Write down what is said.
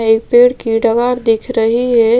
एक पेड़ की डगार दिख रही है।